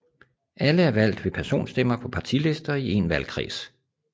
Alle er valgt ved personstemmer på partilister i én valgkreds